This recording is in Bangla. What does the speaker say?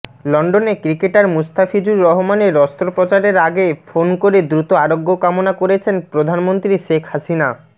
লন্ডনে ক্রিকেটার মুস্তাফিজুর রহমানের অস্ত্রোপচারের আগে ফোন করে দ্রুত আরোগ্য কামনা করেছেন প্রধানমন্ত্রী শেখ হাসিনা